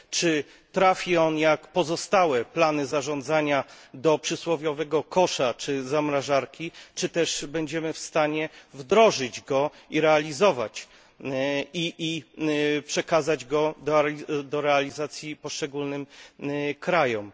Czy trafi ono, tak jak pozostałe plany zarządzania, do przysłowiowego kosza, czy zamrażarki, czy też będziemy w stanie wdrożyć je i realizować oraz przekazać do realizacji poszczególnym państwom?